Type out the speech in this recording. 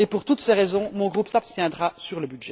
Pour toutes ces raisons, mon groupe s'abstiendra sur le